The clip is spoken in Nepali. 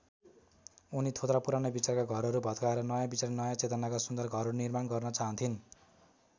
उनी थोत्रा पुराना विचारका घरहरू भत्काएर नयाँ विचार नयाँ चेतनाका सुन्दर घरहरूको निर्माण गर्न चाहन्थिन्।